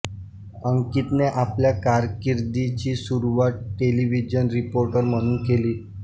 अंकितने आपल्या कारकीर्दीची सुरूवात टेलीव्हिजन रिपोर्टर म्हणून केली